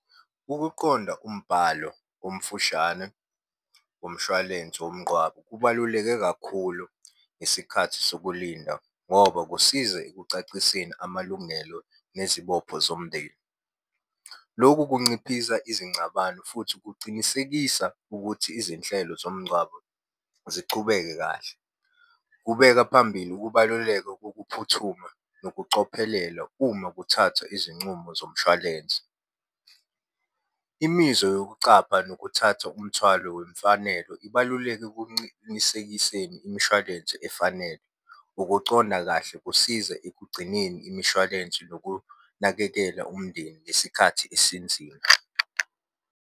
Ukuqonda umbhalo omfushane womshwalense womngqwabo, kubaluleke kakhulu ngesikhathi sokulinda ngoba kusiza ekucaciseni amalungelo nezibopho zomndeni. Lokhu kunciphisa izingcabano futhi kucinisekisa ukuthi izinhlelo zomngcwabo zichubeke kahle. Kubeka phambili ukubaluleka kokuphuthuma nokucophelela uma kuthathwa izincumo zomshwalense. Imizwa yokucapha nokuthatha umthwalo wemfanelo ibaluleke kuncinisekiseni imishwalense efanele. Ukuconda kahle kusiza ekugcineni imishwalense nokunakekela umndeni ngesikhathi esinzima.